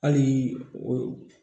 Hali o